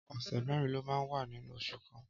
Ọsẹ mèrin ló mà n wà ninú óṣù kàn